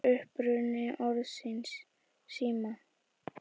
Hver er uppruni orðsins sími?